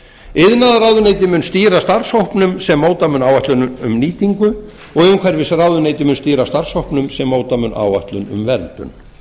iðnaðarráðuneyti mun stýra starfshópnum sem móta mun áætlun um nýtingu og umhverfisráðuneyti mun stýra starfshópnum sem móta mun áætlun um verndun